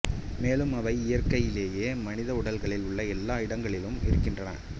மேலும் அவை இயற்கையிலேயே மனித உடல்களில் உள்ள எல்லா இடங்களிலும் இருக்கின்றன